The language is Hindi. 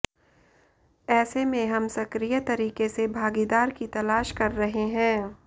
ऐसे में हम सक्रिय तरीके से भागीदार की तलाश कर रहे हैं